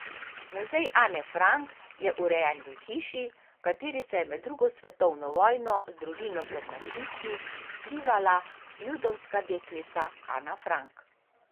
Muzej Ane Frank je urejen v hiši, v kateri se je med drugo svetovno vojno z družino pred nacisti skrivala judovska deklica Ana Frank.